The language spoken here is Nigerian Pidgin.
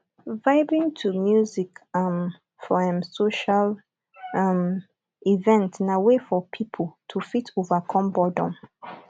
vibing to music um for um social um um event na way for pipo to fit overcome boredom